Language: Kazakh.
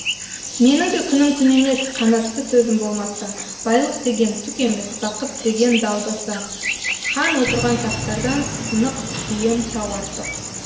менің де күнім күн емес қанатты сөзім болмаса байлық деген түк емес бақыт деген далбаса хан отырған тақтардан сынық сүйем тау артық